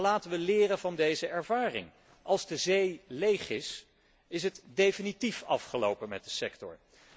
Maar laten wij leren van deze ervaring als de zee leeg is, is het definitief afgelopen met de sector.